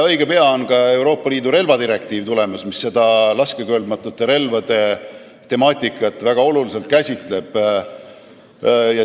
Õige pea on tulemas ka Euroopa Liidu relvadirektiiv, mis laskekõlbmatute relvade temaatikat väga oluliselt käsitleb.